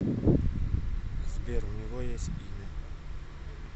сбер у него есть имя